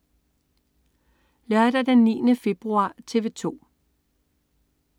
Lørdag den 9. februar - TV 2: